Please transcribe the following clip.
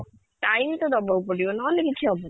time ତ ଦବା କୁ ପଡିବ ନହେଲେ କିଛି ହବନି